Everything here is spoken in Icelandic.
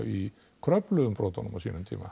í Kröflu umbrotunum á sínum tíma